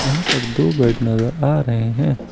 यहां पर दो बेड नजर आ रहे हैं।